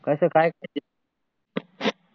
कसं काय